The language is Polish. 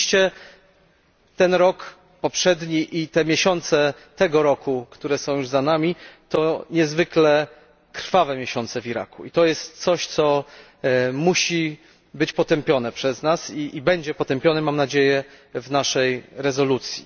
Oczywiście ten rok poprzedni i miesiące tego roku, które są już za nami to niezwykle krwawe miesiące w Iraku i to jest coś, co musi być potępione przez nas i będzie potępione, mam nadzieję, w naszej rezolucji.